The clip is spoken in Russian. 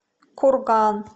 курган